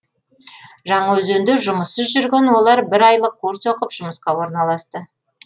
жаңаөзенде жұмыссыз жүрген олар бір айлық курс оқып жұмысқа орналасты